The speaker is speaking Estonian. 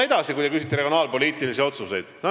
Edasi, kui te küsite regionaalpoliitiliste otsuste kohta.